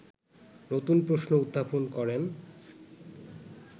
নতুন প্রশ্ন উত্থাপন করেন